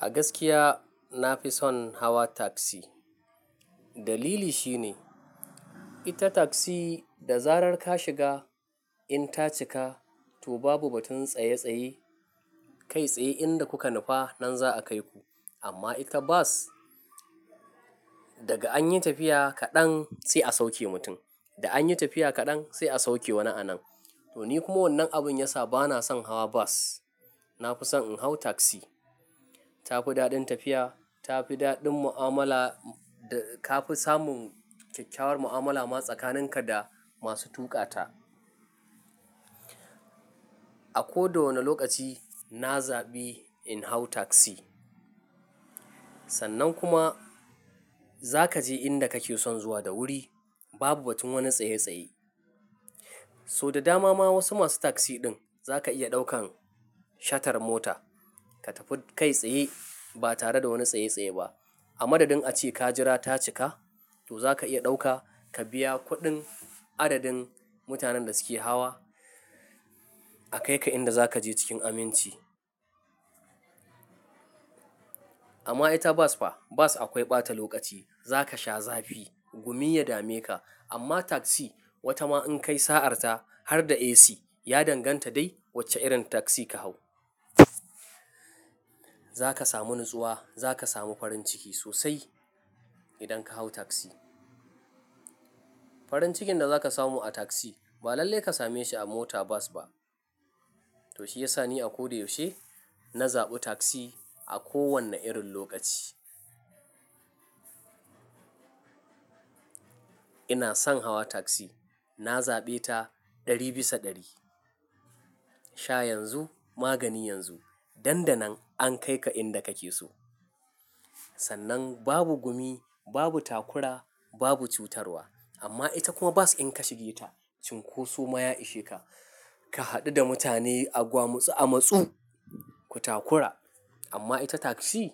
A gaskiya na fi son hawa taksi. Dalili shine ita taksi, da zarar ka shiga in ta cika, to babu batun tsaye-tsaye. Kai tsaye inda kuka nufa nan za a kai ku. Amma ita bas, daga anyi tafiya kaɗan sai a sauke mutum, da anyi tafiya kaɗan sai a sauke wani a nan. To ni kuma wannan abun ya sa bana son hawa bas. Na fi son in hau taksi. Ta fi daɗin tafiya, ta fi daɗin mu'amala, da ka fi samun kyakyawar mu'amala ma tsakaninka da masu tuƙa ta. A ko da wane lokaci na zaɓi in hau taksi. Sannan kuma za kaje inda kake son zuwa da wuri, babu batun wani tsaye-tsaye. So da dama ma wasu masu taksi ɗin za ka iya ɗaukan shatar mota, ka tafi kai tsaye ba tare da wani tsaye-tsaye ba. A madadin ace ka jira ta cika, to za ka iya ɗauka, ka biya kuɗin adadin mutanen da suke hawa, a kai ka inda za kaje cikin aminci. Amma ita bas fa, bas akwai ɓata lokaci. Za ka sha zafi, gumi ya dame ka. Amma taksi, wata ma in kai sa'arta har da AC, ya danganta dai wace irin taksi ka hau. Za ka samu natsuwa, za ka samu farin ciki sosai idan ka hau taksi. Farin cikin da za ka samu a taksi, ba lallai ka same shi a mota bas ba. To shi ya sa ni a ko da yaushe, na zaɓi taksi a kowane irin lokaci. Ina son hawa taksi. Na zaɓe ta ɗari bisa ɗari. Sha yanzu, magani yanzu. Nan danan an kai ka inda kake so. Sannan babu gumi, babu takura, babu cutarwa. Amma ita kuma bas in ka shiga ita, cinkoso ma ya ishe ka? Ka haɗu da mutane a gwamusu a matsu, ku takura. Amma ita taksi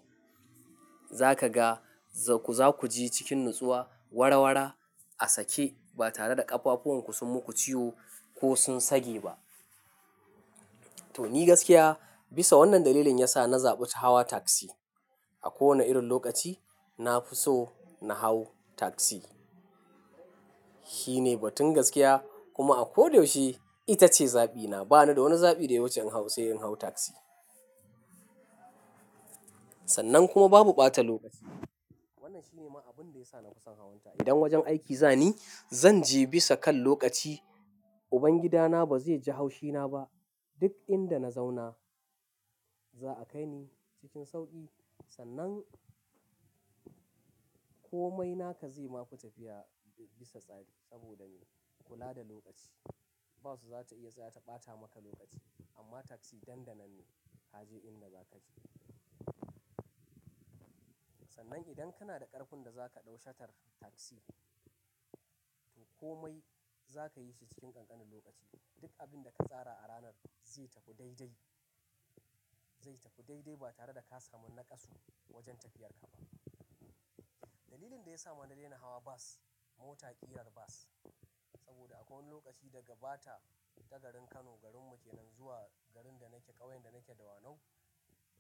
za kaga za ku, za ku je cikin natsuwa, warawara, a sake ba tare da ƙafafuwanku sun muku ciwo ko sun sage ba. To ni gaskiya bisa wannan dalilin ya sa na zaɓi hawa tagzi. A kowane irin lokaci na fi so na hau taksi. Shi ne batun gaskiya, kuma a ko da yaushe ita ce zaɓina. Ba ni da wani zaɓi daya wacce in hau sai in hau taksi. Sannan kuma babu ɓata lokaci. Wannan shi ne ma abun da ya sa nafison hawan ta. Idan wajen aiki zani, zan je bisa kan lokaci. Ubangida na ba zai ji haushina ba. Duk inda na zauna za a kai ni cikin sauƙi. Sannan, komai naka zai ma fi tafiya bisa tsari saboda me? Kula da lokaci. Bas za ta iya tsaya ta ɓata maka lokaci amma tagzi nandanan ne. Ka je inda za kaje. Sannan idan kana da ƙarfin da za ka ɗau shatar taksi, to komai za ka yi shi cikin ƙanƙanin lokaci. Duk abin da ka tsara a ranar zai tafi daidai. Zai tafi daidai ba tare da ka samu naƙasu, wajen tafiyar ka ba. Dalilin da ya sa mana daina hawa bas, mota ƙirar bas saboda akwai wani lokaci daga bata ta garin Kano, garin mu kenan zuwa garin da nake, ƙauyen da nake dawanau,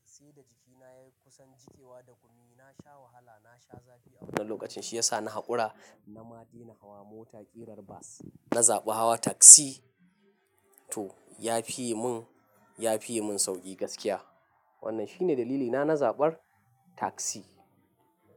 sai da jikina ya yi kusan jikewa da gumi. Na sha wahala, na sha zafi a wannan lokacin. Shi ya sa na haƙura na ma daina hawa mota ƙirar bas. Na zaɓi hawa taksi. To ya fi yi mun, ya fi yi mun sauƙi gaskiya. Wannan shi ne dalilina na zaɓar taksi.